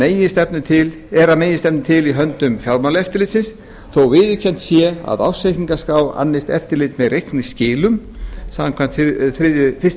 meginstefnu til í höndum fjármálaeftirlitsins þótt viðurkennt sé að ársreikningaskrá annist eftirlit með reikningsskilum samkvæmt fyrstu